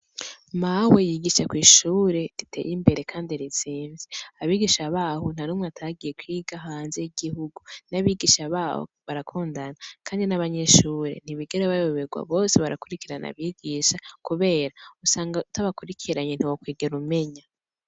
Mawe yigisha kw’ishuri ritey’imbere kandi rizimvye, abigisha baho ntanumwe atagiye kwiga hanze y’igihugu. N’abigisha baho barakundana kandi n’abanyeshure ntibigera bayoberwa bose barakwirikirana abigisha kubera usanga utabakwirikiranye ntiwokwiger’umenya.